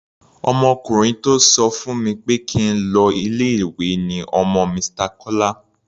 Ọmọkùnrin tó sọ fún mi pé kí n lọ ilé-ìwé ni ọmọ Mr. Kọ́lá.